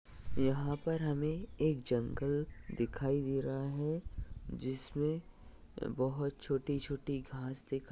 यहाँ पर हमें एक जंगल दिखाई दे रहा है। जिसम बोहोत छोटी छोटी घास दिखाई--